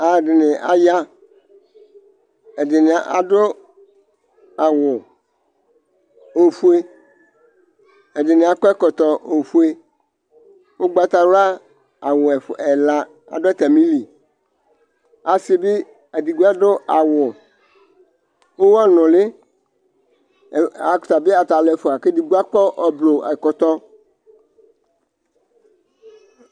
Alʋ ɛdɩnɩ aya, ɛdɩnɩ adʋ awʋ ofue, ɛdɩnɩ akɔ ɛkɔtɔ ofue, ʋgbatawla awʋ ɛla, adʋ atamili, asɩ bɩ edigbo adʋ awʋ ʋɣɔ nʋlɩ, ata bɩ ata alʋ ɛfʋa, kʋ edigbo akɔ ʋblʋ ɛkɔtɔ